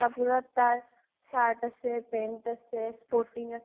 কাপোৰত তাৰ shirt আছে, pant আছে, sporting